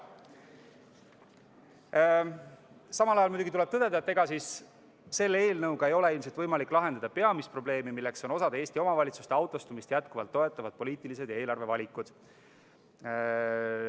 Samal ajal tuleb muidugi tõdeda, et selle eelnõuga ei ole ilmselt võimalik lahendada peamist probleemi, milleks on osa Eesti omavalitsuste jätkuvalt autostumist toetavad poliitilised ja eelarvevalikud.